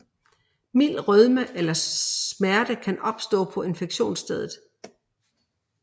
Mild rødme eller smerte kan opstå på injektionsstedet